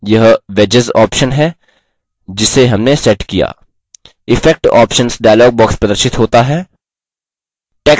effects options dialog box प्रदर्शित होता है